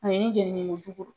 A ye jenni ko